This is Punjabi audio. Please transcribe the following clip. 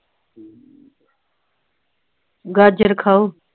ਗਾਜਰ ਖਾਓ